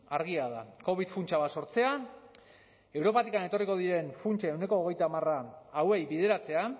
argia da covid funtsa bat sortzea europatik etorriko diren funtsen ehuneko hogeita hamar hauei bideratzea